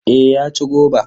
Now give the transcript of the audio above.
Eh ya ci goba.